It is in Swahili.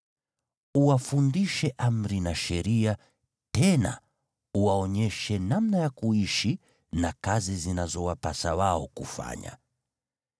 Uwafundishe amri na sheria, tena uwaonyeshe namna ya kuishi na kazi zinazowapasa wao kufanya.